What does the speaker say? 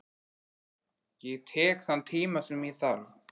Ég tek þann tíma sem ég þarf.